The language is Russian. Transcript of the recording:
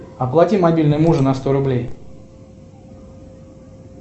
оплати мобильный мужа на сто рублей